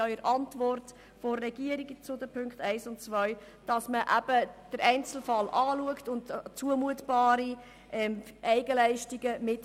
In der Antwort des Regierungsrats zu den Punkten 1 und 2 steht ebenfalls, man schaue den Einzelfall an und berücksichtigte zumutbare Eigenleistungen mit.